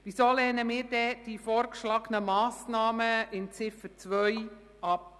Weshalb lehnen wir die unter Ziffer 2 vorgeschlagenen Massnahmen ab?